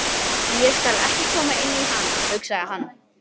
Ég skal ekki koma inn í hana, hugsaði hann.